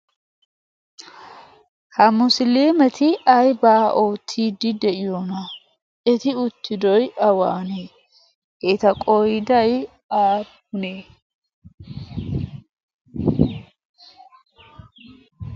ha musiliimeti aibaa ootiidi de'iyoona eti uttidi awaanee eeta qooday aapunee?